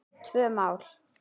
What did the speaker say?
Tvö mál.